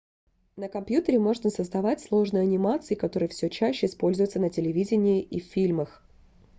на компьютере можно создавать сложные анимации которые все чаще используются на телевидении и в фильмах